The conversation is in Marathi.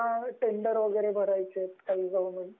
तुम्हाला टेंडर वैगेरे भरायचे आहेत काही गव्हर्नमेंटचे